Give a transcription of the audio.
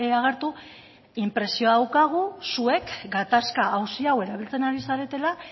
agertu inpresioa daukagu zuek gatazka auzi hau erabiltzen ari zaretela